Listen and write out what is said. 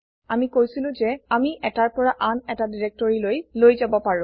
আমি কৈছিলো যে আমি এটাৰ পৰা আন এটা directoryলৈ লৈ যাব পাৰো